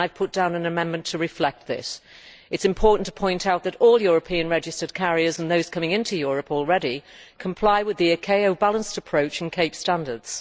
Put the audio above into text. I have put forward an amendment to reflect this. It is important to point out that all European registered carriers and those coming into Europe already comply with the ICAO balanced approach and CAPE standards.